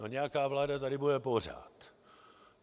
No nějaká vláda tady bude pořád.